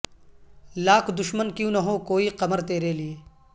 لاکھ دشمن کیوں نہ ہو کوئی قمر تیرے لیئے